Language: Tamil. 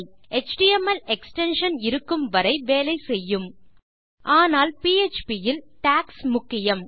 எச்டிஎம்எல் எக்ஸ்டென்ஷன் இருக்கும் வரை வேலை செய்யும் ஆனால் பிஎச்பி இல் டாக்ஸ் முக்கியம்